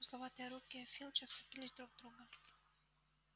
узловатые руки филча вцепились друг в друга